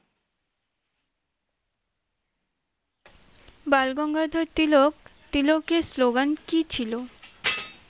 বালগঙ্গাধর তিলক তিলকের slogan কী ছিল?